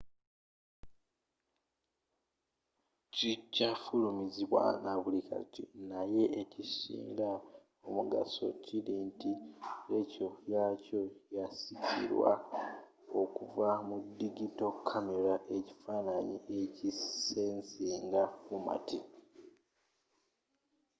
kikyafulumizibwa nabuli kati naye n'ekisinga omugaso kiri nti lekyoratio yakyo yasikirwa okuva mu digito kamera ekifaananyi ekisensinga fomati